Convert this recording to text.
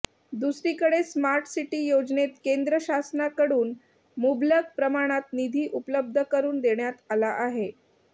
दुसरीकडे smart city योजनेत केंद्र शासनाकडून मुबलक प्रमाणात निधी उपलब्ध करून देण्यात आला आहे